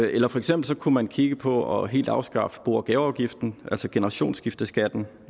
eller for eksempel kunne man kigge på helt at afskaffe bo og gaveafgiften altså generationsskifteskatten